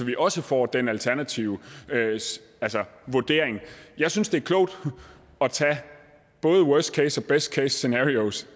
vi også får den alternative vurdering jeg synes det er klogt at tage både worst case og best case scenarios